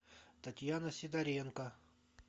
татьяна сидоренко